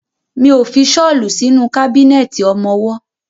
Mi ó fi ṣọ́lù sínú kábínẹ̀tì ọmọwọ́.